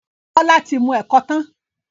Bola tí mú ẹkọ tán..